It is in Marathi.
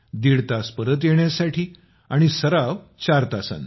दीड तास परत येण्यासाठी आणि सराव चार तासाचा